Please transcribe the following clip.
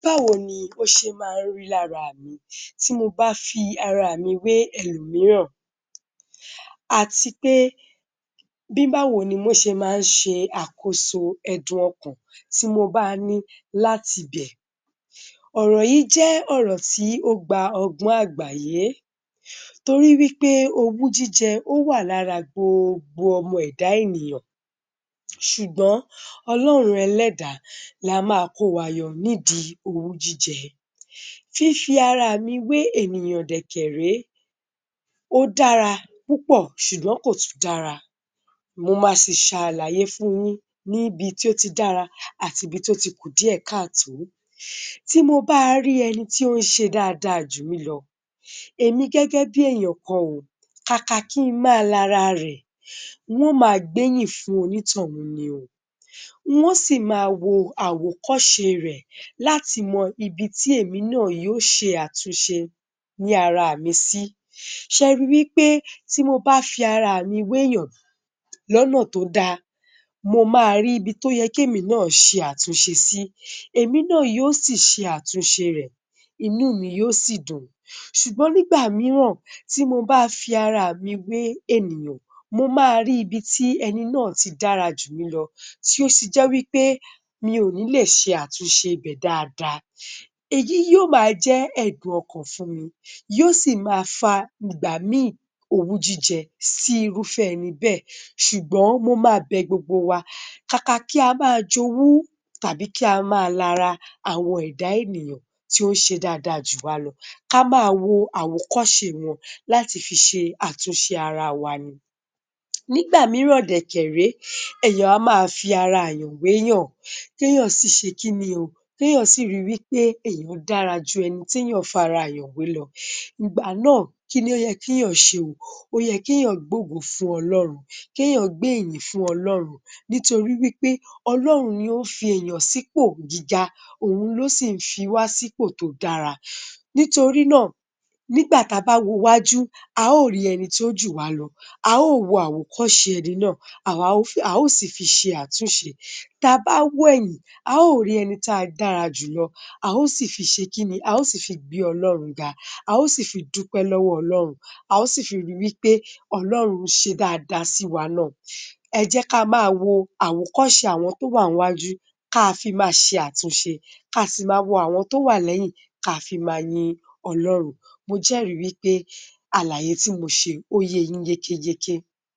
Báwo ni ó ṣe máa ń rí lára mi tí mo bá fi ara mi wé ẹlòmíràn àti pé bí báwo ni ó ṣe máa ń ṣe àkóso ẹdùn ọkàn tí mo bá ní láti bẹ̀. Ọ̀rọ̀ yìí jẹ́ ọ̀rọ̀ tí ó gba ọgbọ́n àgbáyé torí wí pé owú-jíjẹ, ó wà lára gboogbo ọmọ ẹ̀dá ènìyàn ṣùgbọ́n Ọlọ́run Ẹlẹ́dàá la máa ko wa yọ nídìí òwú-jíjẹ. Fífi ara mi wé ènìyàn dẹ̀ kẹ̀ rèé, ó dara púpọ̀, ṣùgbọ́n kò tún dára. Mo máa sì ṣàlàyé fun yín níbi tí ó ti dára àti ibi tí ó ti kù díẹ̀ ká tòó. Tí mo bá rí ẹni tí ó ń se dáadáa jù mí lọ, èmi gẹ́gẹ́bí èèyàn kan o, kàkà kí n máa lara rẹ̀, n wó ma gbéyìn fún onítọ̀ún ni o. Nwó sì máa wo àwòkọṣe rẹ̀ láti mọ ibi tí èmi náà yóò ṣe àtúnṣe ni ara mi sí. Ṣẹri wí pé tí mo bá fi ara mi wé èèyàn lọ́nà tó da, mo máa rí ibi tó yẹ kémi náà ṣe àtúnṣe sí. Èmi náà yóò sì ṣe àtúnṣe rẹ̀, inú mi yóò sì dùn. Ṣùgbọ́n nígbà mìíràn tí mo bá fi ara mi wé ènìyàn, mo máa ri ibi tí ẹni náà ti dára jù mi lọ tí ó si jẹ́ wí pé mi ò ní lè ṣe àtúnṣe ibẹ̀ dáadáa. Èyí yóò máa jẹ́ ẹdùn-ọkàn fún mi yóò sì máa fa ìgbà mi owú-jíjẹ sí irúfẹ́ ẹni bẹ́ẹ̀ ṣùgbọ́n mo máa bẹ gbogbo wa, kàkà kí a máa jowú tàbí kí a máa lara àwọn ẹ̀dá ènìyàn tí ó ń ṣe dáadáa jù wa lọ, ká máa wo àwòkọ́ṣe wọn láti fi ṣe àtúnṣe ara wa ni. Nígbà mìíràn dẹ̀ kẹ̀ rèé, èèyàn a máa fi ara èèyàn wé èèyàn téèyàn sì ṣe kí ni o, kéèyàn sì ri wí pé èèyàn dára jù ẹni tí èèyàn fara èèyàn wé lọ. Ìgbà náà kí ni ó yẹ kí ènìyàn náà ṣe o, ó yẹ kí èèyàn gbé ògo fún Ọlọ́run, kí èèyàn gbé ìyìn fún Ọlọ́run nítorí wí pé Ọlọ́run ni ó fi èèyàn sì ipò gíga, òun ló sì ń fi wá sí ipò tó dára nítorí náà, nígbà ta bá wo iwájú a ó rí ẹni tó jù wá lọ, a ó wo àwòkọ́ṣe ẹni náà, a ó sì fi ṣe àtúnṣe. Tabá wo ẹ̀yìn, a ó rí ẹni tí a dárajù lọ, a ó sì fi ṣe kí ni? A ó sì fi gbé Ọlọ́run ga, a ó sì fi dúpẹ́ lọ́wọ́ Ọlọ́run, a ó sì fi ri wí pé Ọlọ́run ń ṣe dáadáa sí wa náà. Ẹ jẹ́ ká ma wo àwòkọ́ṣe àwọn tó wà ńwájú, ká a fi ma ṣe àtúnṣe, ká a sì máa wo àwọn tó wà lẹ́yìn, ká fi máa yin Ọlọ́run. Mo jẹ́rì wí pé àlàyé tí mo ṣe, ó ye yín yékéyéké.